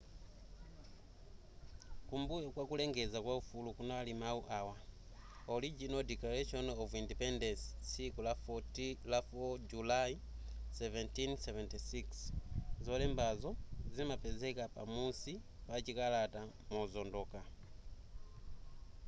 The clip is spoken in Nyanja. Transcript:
kumbuyo kwa kulengeza kwa ufulu kunali mawu awa original declaration of independence tsiku la 4 julayi 1776 zolembazo zimapezeka pa musi pa chikalata mozondoka